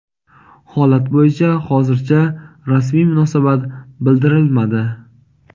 Holat bo‘yicha hozircha rasmiy munosabat bildirilmadi.